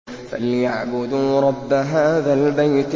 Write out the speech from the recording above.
فَلْيَعْبُدُوا رَبَّ هَٰذَا الْبَيْتِ